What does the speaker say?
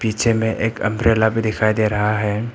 पीछे में एक अंब्रेला भी दिखाई दे रहा हैं।